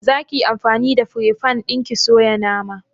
Za ki yi anfani da fire fan ɗin ki soya naman?